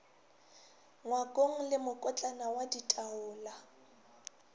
ngwakong le mokotlana wa ditaola